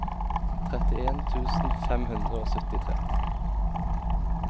trettien tusen fem hundre og syttitre